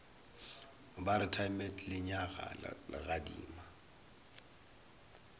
ba re timet lenyaga legadima